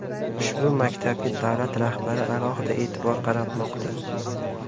Ushbu maktabga davlat rahbari alohida e’tibor qaratmoqda.